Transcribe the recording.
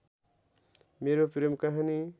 मेरो प्रेम कहानि